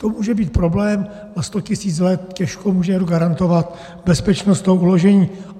To může být problém, na sto tisíc let těžko může někdo garantovat bezpečnost toho uložení.